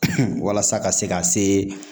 walasa ka se ka see